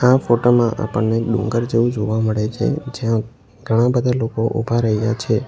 આ ફોટામાં આપણને ડુંગર જેવું જોવા મળે છે જ્યાં ઘણા બધા લોકો ઉભા રહ્યા છે.